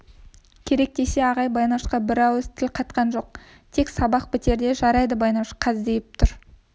керек десе ағай байнашқа бір ауыз тіл қатқан жоқ тек сабақ бітерде жарайды байнаш қаздиып тұр